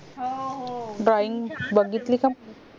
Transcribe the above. हो हो